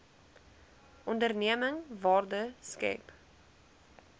onderneming waarde skep